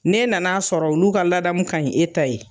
Ne nana a sɔrɔ olu ka ladamu kaɲi e ta ye